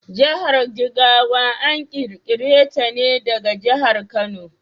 Jahar Jigawa an ƙirƙire ta ne daga jahar Kano.